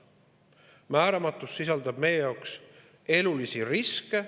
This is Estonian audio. See määramatus sisaldab meie jaoks elulisi riske.